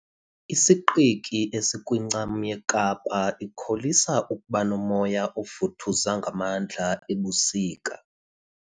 Isiqiki esikwincam yeKapa ikholisa ukuba nomoya ovuthuza ngamandla ebusika.